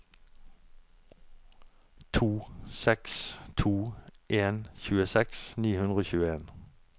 to seks to en tjueseks ni hundre og tjueen